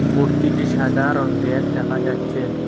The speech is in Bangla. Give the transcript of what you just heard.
মূর্তিটি সাদা রঙ্গের দেখা যাচ্চে।